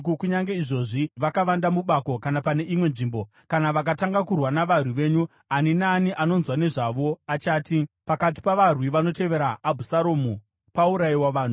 Kunyange izvozvi vakavanda mubako kana pane imwe nzvimbo. Kana vakatanga kurwa navarwi venyu, ani naani anonzwa nezvazvo achati, ‘Pakati pavarwi vanotevera Abhusaromu paurayiwa vanhu.’